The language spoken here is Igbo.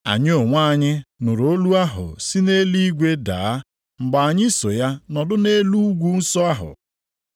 Anyị onwe anyị nụrụ olu ahụ si nʼeluigwe daa mgbe anyị so ya nọdụ nʼelu ugwu nsọ ahụ.